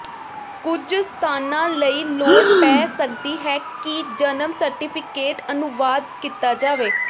ਕੁਝ ਸਥਾਨਾਂ ਲਈ ਲੋੜ ਪੈ ਸਕਦੀ ਹੈ ਕਿ ਜਨਮ ਸਰਟੀਫਿਕੇਟ ਅਨੁਵਾਦ ਕੀਤਾ ਜਾਵੇ